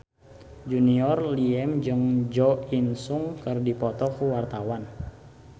Junior Liem jeung Jo In Sung keur dipoto ku wartawan